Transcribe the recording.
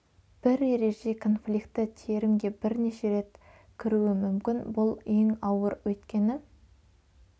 бір ереже конфликті терімге бірнеше рет кіруі мүмкін бұл ең ауыр өйткені